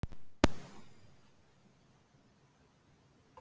Pabbi Snædísar: Hvernig fannst þér ganga?